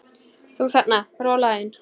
Þú þarna, rolan þín.